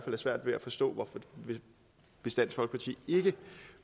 have svært ved at forstå hvis dansk folkeparti ikke